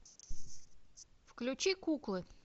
включи куклы